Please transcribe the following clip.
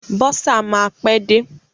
Bọ́sà máa pẹ́ dé.